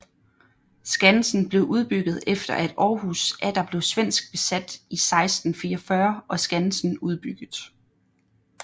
Skansen blev udbygget efter at Aarhus atter blev svensk besat i 1644 og skansen udbygget